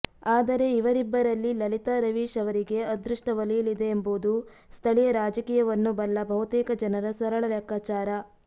ಆದರೆ ಇವರಿಬ್ಬರಲ್ಲಿ ಲಲಿತಾ ರವೀಶ್ ಅವರಿಗೇ ಅದೃಷ್ಟ ಒಲಿಯಲಿದೆಯೆಂಬುದು ಸ್ಥಳೀಯ ರಾಜಕೀಯವನ್ನು ಬಲ್ಲ ಬಹುತೇಕ ಜನರ ಸರಳ ಲೆಕ್ಕಾಚಾರ